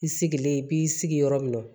I sigilen i b'i sigi yɔrɔ min na